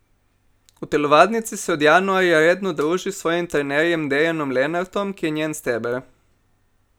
V telovadnici se od januarja redno druži s svojim trenerjem Dejanom Lenartom, ki je njen steber.